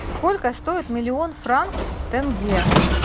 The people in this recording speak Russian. сколько стоит миллион франков в тенге